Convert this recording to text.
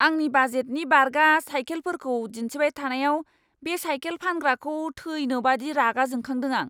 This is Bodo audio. आंनि बाजेटनि बारगा साइकेलफोरखौ दिन्थिबाय थानायाव बे साइकेल फानग्राखौ थैनो बायदि रागा जोंखादों आं!